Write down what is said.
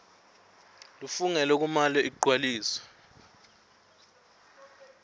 lefungelwe kumele igcwaliswe